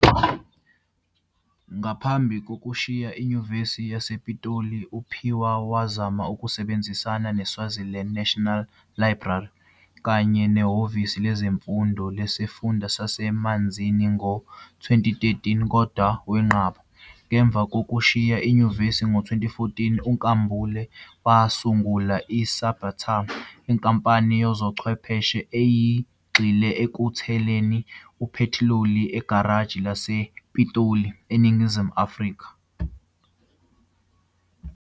Ngaphambi kokushiya iNyuvesi yasePitoli uPhiwa wazama ukusebenzisana neSwaziland National Library kanye neHhovisi Lezemfundo Lesifunda saseManzini ngo-2013 kodwa wenqaba. Ngemva kokushiya inyuvesi ngo-2014 uNkambule wasungula iCybatar, inkampani yezobuchwepheshe eyayigxile ekuletheni uphethiloli egaraji lakhe elisePitoli, eNingizimu Afrika.